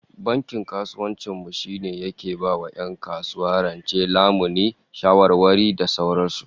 Bankin kasuwancin mu shine yake ba 'yan kasuwa rance, lamuni, shawarwari da sauran su